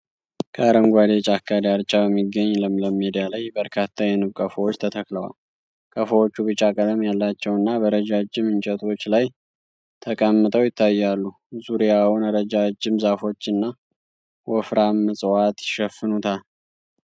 ከአረንጓዴ ጫካ ዳርቻ በሚገኝ ለምለም ሜዳ ላይ በርካታ የንብ ቀፎዎች ተተክለዋል። ቀፎዎቹ ቢጫ ቀለም ያላቸውና በረጃጅም እንጨቶች ላይ ተቀምጠው ይታያሉ። ዙሪያውን ረዣዥም ዛፎችና ወፍራም ዕፅዋት ይሸፍኑታል።